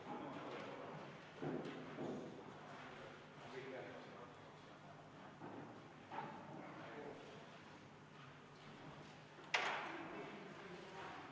Kõigepealt palun kontrollida hääletamiskaste ja seda, et turvaplommid hääletamiskastidel ei oleks rikutud.